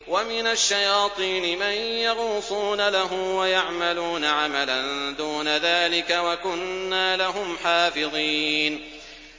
وَمِنَ الشَّيَاطِينِ مَن يَغُوصُونَ لَهُ وَيَعْمَلُونَ عَمَلًا دُونَ ذَٰلِكَ ۖ وَكُنَّا لَهُمْ حَافِظِينَ